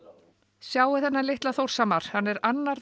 sjáið þennan litla Þórshamar hann er annar